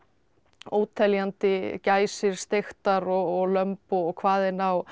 óteljandi gæsir steiktar og lömb og hvaðeina og